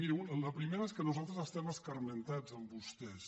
miri la primera és que nosaltres estem escarmentats amb vostès